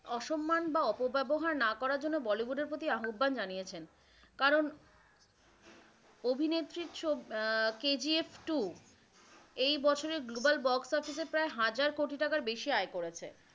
অসম্মান বা অপব্যবহার না করার জন্য বলিউড এর প্রতি আহবান জানিয়েছেন, কারণ অভিনেত্রীর ছবি আহ কেজিএফ টূ এই বছরে global box office এ প্রায় হাজার কোটি টাকার বেশি আয় করেছে।